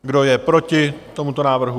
Kdo je proti tomuto návrhu?